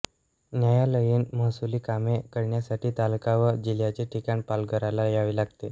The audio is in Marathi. न्यायालयीनमहसुली कामे करण्यासाठी तालुका व जिल्ह्याचे ठिकाण पालघरला यावे लागते